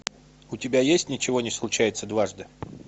у тебя есть ничего не случается дважды